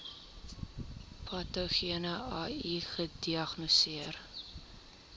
patogene ai gediagnoseer